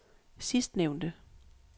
sidstnævnte